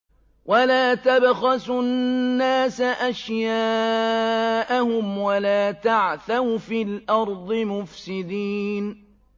وَلَا تَبْخَسُوا النَّاسَ أَشْيَاءَهُمْ وَلَا تَعْثَوْا فِي الْأَرْضِ مُفْسِدِينَ